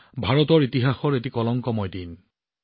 ভাৰতৰ ইতিহাসৰ এটা অন্ধকাৰ সময় আছিল